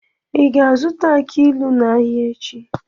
Ị ga-azụta aki ilu n'ahịa echi?